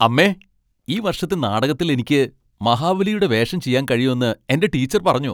അമ്മേ, ഈ വർഷത്തെ നാടകത്തിൽ എനിക്ക് മഹാബലിയുടെ വേഷം ചെയ്യാൻ കഴിയുമെന്ന് എന്റെ ടീച്ചർ പറഞ്ഞു.